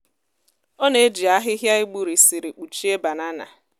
ọ na-eji ahịhịa e gburisiri kpuchie banana.